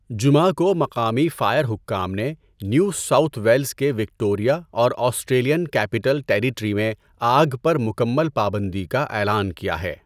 جمعہ کو مقامی فائر حکام نے نیو ساؤتھ ویلزکے وکٹوریہ اور آسٹریلین کیپٹل ٹیریٹری میں آگ پر مکمل پابندی کا اعلان کیا ہے۔